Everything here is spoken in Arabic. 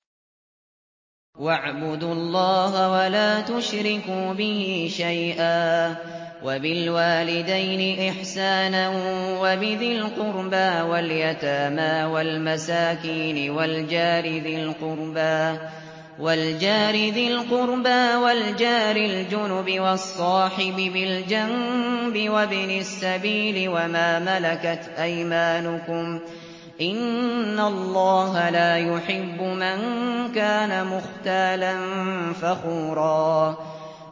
۞ وَاعْبُدُوا اللَّهَ وَلَا تُشْرِكُوا بِهِ شَيْئًا ۖ وَبِالْوَالِدَيْنِ إِحْسَانًا وَبِذِي الْقُرْبَىٰ وَالْيَتَامَىٰ وَالْمَسَاكِينِ وَالْجَارِ ذِي الْقُرْبَىٰ وَالْجَارِ الْجُنُبِ وَالصَّاحِبِ بِالْجَنبِ وَابْنِ السَّبِيلِ وَمَا مَلَكَتْ أَيْمَانُكُمْ ۗ إِنَّ اللَّهَ لَا يُحِبُّ مَن كَانَ مُخْتَالًا فَخُورًا